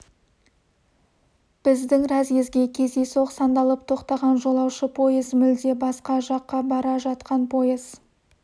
біздің разъезге кездейсоқ сандалып тоқтаған жолаушы пойыз мүлде басқа жаққа бара жатқан пойыз